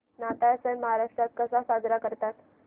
नाताळ सण महाराष्ट्रात कसा साजरा करतात